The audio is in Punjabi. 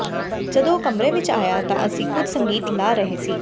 ਜਦੋਂ ਉਹ ਕਮਰੇ ਵਿਚ ਆਇਆ ਤਾਂ ਅਸੀਂ ਕੁਝ ਸੰਗੀਤ ਲਗਾ ਰਹੇ ਸੀ